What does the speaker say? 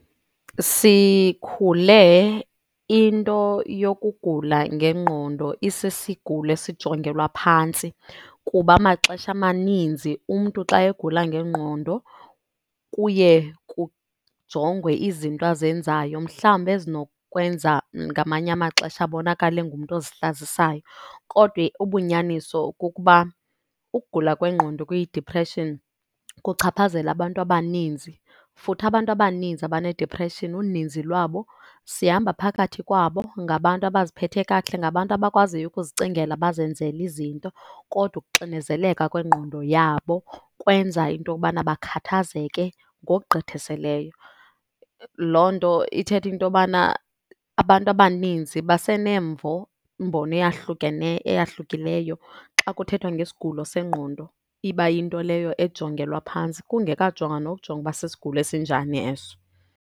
Sikhule into yokugula ngengqondo isisigulo esijongelwa phantsi kuba amaxesha amaninzi umntu xa egula ngengqondo kuye kujongwe izinto azenzayo mhlawumbi ezinokwenza ngamanye amaxesha abonakale engumntu ozihlazisayo. Kodwa ubunyaniso kukuba ukugula kwengqondo kwi-depression kuchaphazela abantu abaninzi, futhi abantu abaninzi abane-depression uninzi lwabo sihamba phakathi kwabo ngabantu abaziphethe kakuhle, ngabantu abakwaziyo ukuzicingela bazenzele izinto, kodwa ukuxinezeleka kwengqondo yabo kwenza into yokubana bakhathazeke ngokugqithisileyo. Loo nto ithetha into yobana abantu abaninzi basenemvo mbono eyahlukileyo xa kuthethwa nge sigulo sengqondo iba yinto leyo ejongelwa phantsi kungekajongwa nokujongwa ukuba sisigulo esinjani eso.